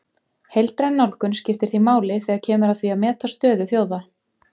Heildræn nálgun skiptir því máli þegar kemur að því að meta stöðu þjóða.